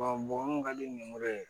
bɔn mɔgɔ mun ka di n yemɔrɔ ye